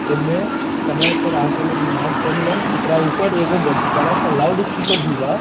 ए मे समय पर आके लोग नमाज पढ़ेलन एकरा ऊपर एगो बड बड़ा सा लाउडस्पीकर भी बा।